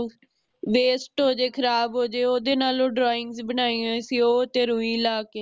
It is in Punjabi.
waste ਹੋਜੇ ਖਰਾਬ ਹੋਜੇ ਓਹਦੇ ਨਾਲ drawing ਬਣਾਈ ਹੁਈ ਸੀ ਰੁਈ ਲਾਕੇ